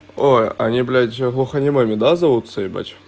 ой они блять глухонемыми да зовутся ебать